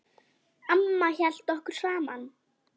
Amma hélt okkur saman.